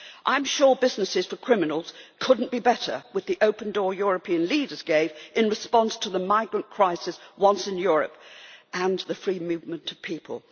I am sure business for criminals could not be better with the open door European leaders gave in response to the migrant crisis, once in Europe, and the free movement of people.